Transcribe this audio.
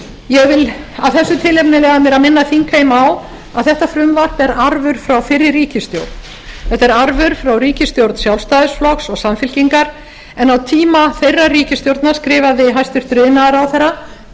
ég vil af þessu tilefni leyfa mér að minna þingheim á að þetta frumvarp er arfur frá fyrri ríkisstjórn þetta er arfur frá ríkisstjórn sjálfstæðisflokks og samfylkingar en á tíma þeirrar ríkisstjórnar skrifaði hæstvirtur iðnaðarráðherra